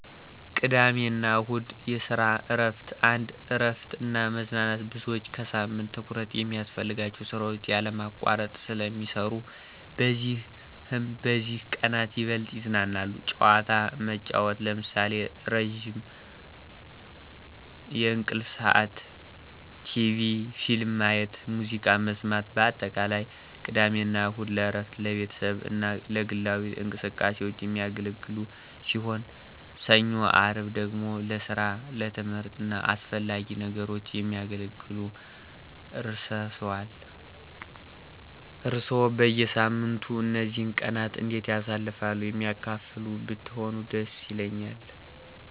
ቅድሚያ አና እሁድ (የሰራ እረፍት ) 1, እረፍት እና መዝናናት _ብዙዎች ከሳምንቱ ትኩረት የሚያስፈልጋቸውን ስራዎች ያለማቋረጥ ስለ ሚሰረነት በዚህም በዚህ ቀነት ይበልጥ ይዝናናሉ። ጨዋታ መጨዉት ለምሳሌ፦ ረዝም የእንቅልፍ ስዓት፣ ቴቪ/ፊልም ማየት፣ ሙዝቃ መሰማት በአጠቃላይ፦ ቅድሜ አና እሁድ ለእረፍት፣ ለቤተሰቡ አና ለግላዊ እንቅስቃሴዎች። የሚያገለግሉ ሲሆን፣ ሰኞ _አርብ ደግሞ ለሰራ፣ ትምህርት አና አሰፈላጊ ነገሮች የሚያገለግሉ። እርሰዋሰ በየሳምንቱ እነዚህን ቀናት እንዴት ታሳልፍሉ የሚያካፍሉ ብትሆኑ ደስ ይለኛል።